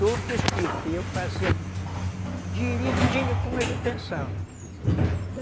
tudo escrito e eu fazia direitinho como ele pensava.